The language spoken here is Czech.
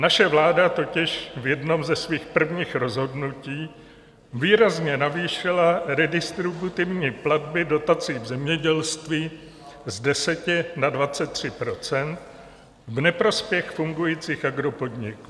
Naše vláda totiž v jednom ze svých prvních rozhodnutí výrazně navýšila redistributivní platby dotací v zemědělství z 10 na 23 % v neprospěch fungujících agropodniků.